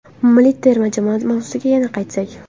Milliy terma jamoa mavzusiga yana qaytsak.